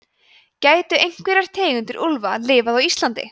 gætu einhverjar tegundir úlfa lifað á íslandi